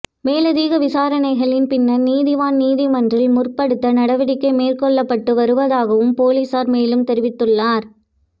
மேலதிக விசாரணைகளின் பின்னர் நீதவான் நீதிமன்றில் முற்படுத்த நடவடிக்கை மேற்கொள்ளப்பட்டு வருவதாகவும் பொலிசார் மேலும் தெரிவித்துள்ளார்